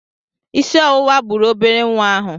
Isi ọwụwa gburu obere nwa ahụ.